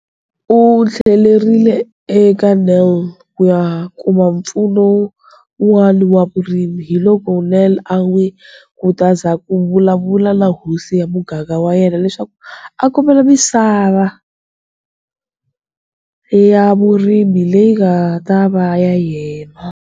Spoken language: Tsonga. U tlhelerile eka Nel ku ya kuma mpfuno wun'wana wa vurimi, hiloko Nel a n'wi khutaza ku vulavula na hosi ya muganga wa yena leswaku a kombela misava ya vurimi leyi nga ta va ya yena.